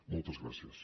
moltes gràcies